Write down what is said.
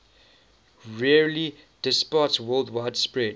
rarely departsworldwide spread